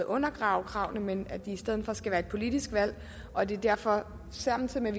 undergrave kravene men at det i stedet for skal være et politisk valg og at vi derfor samtidig med